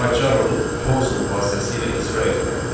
Pycharmun konsul vasitəsilə icra etməkdir.